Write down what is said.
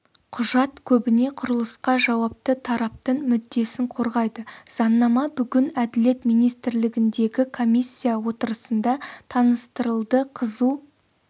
құжат көбіне құрылысқа жауапты тараптың мүддесін қорғайды заңнама бүгін әділет министрлігіндегі комиссия отырысында таныстырылды қызу